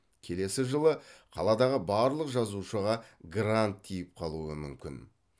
келесі жылы қаладағы барлық жазушыға грант тиіп қалуы мүмкін